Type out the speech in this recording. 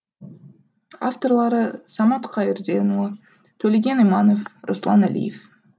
авторлары самат қайырденұлы төлеген иманов руслан әлиев